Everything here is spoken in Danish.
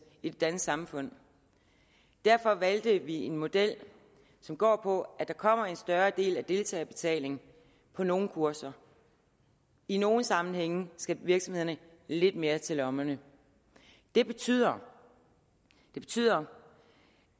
i det danske samfund derfor valgte vi en model som går på at der kommer en større andel af deltagerbetaling på nogle kurser i nogle sammenhænge skal virksomhederne lidt mere til lommerne det betyder betyder